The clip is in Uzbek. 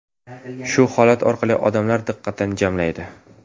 Shu holat orqali odamlar diqqatini jamlaydi.